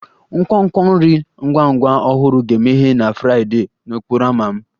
Nkwonkwo nri ngwa ngwa ọhụrụ ga-emeghe na Fraịdee n'okporo ámá m